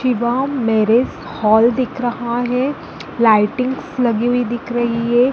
शिवम् marriage hall दिख रहा हैं लाइटिंग्स लगी हुई दिख रही हैं।